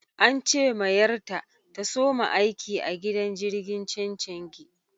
An ce ma yar ta, ta soma aiki a gidan jirigin chenchengi.